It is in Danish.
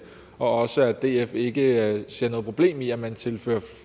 og også at df ikke ser noget problem i at man tilfører